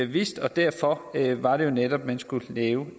vidste og derfor var det jo netop man skulle lave